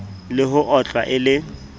le ho otlwa e le